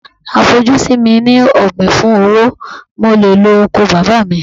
À fojú sí mi ní ọ̀gbìn fún owó, mo le lo oko bàbá mi.